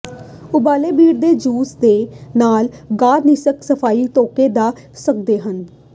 ਉਬਾਲੇ ਬੀਟ ਦੇ ਜੂਸ ਦੇ ਨਾਲ ਗਾਦ ਨਾਸਿਕ ਸਫਾਈ ਧੋਤੇ ਜਾ ਸਕਦੇ ਹਨ